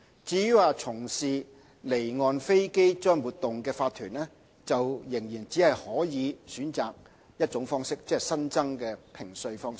至於從事離岸飛機租賃活動的法團，仍只可選擇一種評稅方式，即新增的評稅方式。